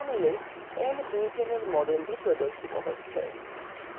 panel nbutaneএর মডেলটি প্রদর্শিত হয়